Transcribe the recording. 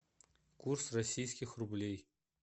курс российских рублей